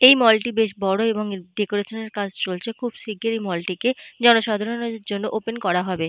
এই মল -টি বেশ বড় এবং এর ডেকোরেশন -এর কাজ চলছে। খুব শিগগিরই এই মল - টিকে জনসাধারণের জন্য ওপেন করা হবে।